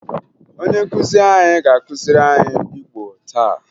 Onye nkụzi anyị ga-akụziri anyị Igbo taa